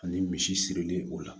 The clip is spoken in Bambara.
Ani misi sirili o la